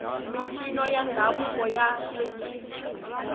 mincino ya ndhavuko ya hlekisa